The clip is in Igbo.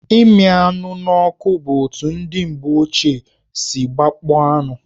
Ịmị anụ n'ọkụ bụ otu ndị mgbe ochie si gbakpọọ anụ.